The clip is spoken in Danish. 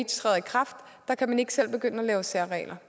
træder i kraft kan man ikke selv begynde at lave særregler